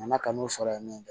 Nana kan'o sɔrɔ yen nɔ